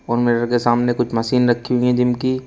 और मिरर के सामने कुछ मशीन रखी हुई है जिम की।